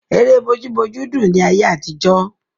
Ère bójú bójú dùn ni ayé àtijọ́.